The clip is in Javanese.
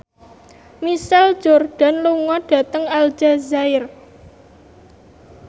Michael Jordan lunga dhateng Aljazair